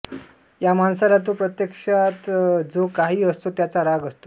ह्या माणसाला तो प्रत्यक्षातजो काही असतो त्याचा राग असतो